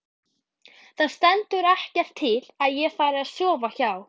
ÞAÐ STENDUR EKKERT TIL AÐ ÉG FARI AÐ SOFA HJÁ.